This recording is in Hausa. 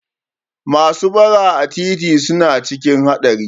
Masu bara a titi suna cikin haɗari